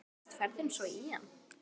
Hvernig leggst ferðin svo í hann?